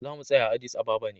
Za mu tsaya a Addis Ababa ne.